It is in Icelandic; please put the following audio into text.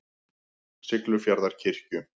Siglufjarðarkirkju